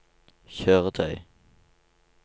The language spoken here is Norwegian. kjøretøy